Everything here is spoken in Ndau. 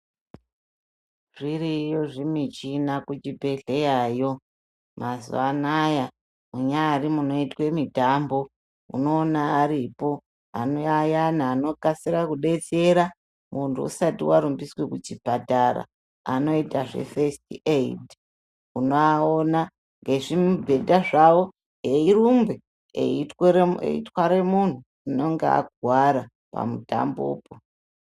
Zviriyo zvimichina kuchibhedhleyayo, mazuva anaya. Munyari munoitwe mitambo ,unoona aripo ayani anokasira kubetsera muntu usati warumbiswe kuchipatara, anoita zvefesiti eyidhi. Unoaona ngezvimubhedha zvawo eyirumbe eyitware munhu unonge akuwara pamutambopo.